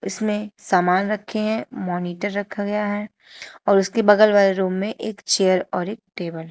इसमें सामान रखे हैं मॉनिटर रखा गया है और उसके बगल वाले रूम में एक चेयर और एक टेबल है।